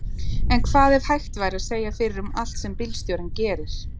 En hvað ef hægt væri að segja fyrir um allt sem bílstjórinn gerir?